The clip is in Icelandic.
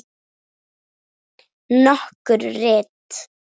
Nokkur rit